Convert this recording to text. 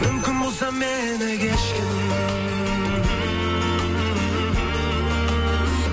мүмкін болса мені кешкін